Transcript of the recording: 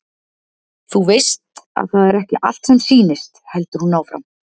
Þú veist að það er ekki allt sem sýnist, heldur hún áfram.